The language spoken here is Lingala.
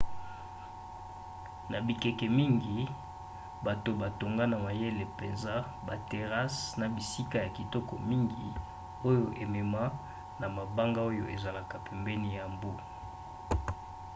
na bikeke mingi bato batonga na mayele mpenza baterrasses na bisika ya kitoko mingi oyo emema na mabanga oyo ezalaka pene ya mbu